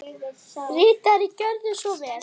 Ritari Gjörðu svo vel.